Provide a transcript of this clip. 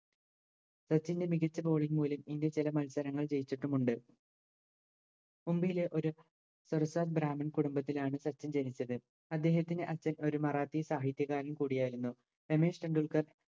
സച്ചിൻറെ മികച്ച batting മൂലം India ചില മത്സരങ്ങൾ ജയിച്ചിട്ടുമുണ്ട് മുംബയിലെ ഒര് സർക്കാർ ബ്രാമിൺ കുടുംബത്തിലാണ് സച്ചിൻ ജനിച്ചത് അദ്ദേഹത്തിൻറെ അച്ഛൻ ഒരു മറാത്തി സാഹിത്യകാരൻ കൂടിയായിരുന്നു രമേശ് ടെൻഡുൽക്കർ